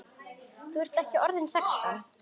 Þú ert ekki orðinn sextán!